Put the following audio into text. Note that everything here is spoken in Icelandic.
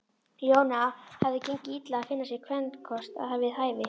Jóni hafði gengið illa að finna sér kvenkost við hæfi.